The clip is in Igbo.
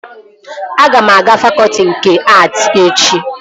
Aga m aga fakọtị nke att echi